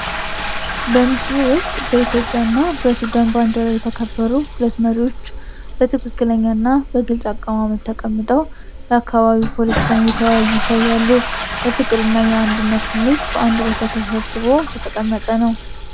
በምስሉ ውስጥ በኢትዮጵያ እና በሱዳን ባንዲራ የተከበሩ ሁለት መሪዎች በትክክለኛ እና በግልጽ አቀማመጥ ተቀምጠው የአካባቢ ፖለቲካን እየተወያዩ ይታያሉ። የፍቅር እና የአንድነት ስሜት በአንድ ቦታ ተሰብስቦ የተቀመጠ ነው።